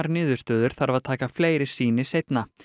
niðurstöður þarf að taka fleiri sýni seinna